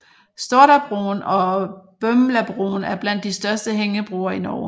Stordabroen og Bømlabroen er blandt de største hængebroer i Norge